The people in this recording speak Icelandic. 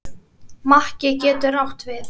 Makki getur átt við